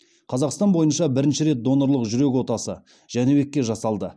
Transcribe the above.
қазақстан бойынша бірінші рет донорлық жүрек отасы жәнібекке жасалды